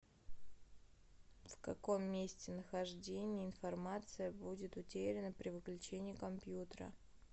в каком месте нахождения информация будет утеряна при выключении компьютера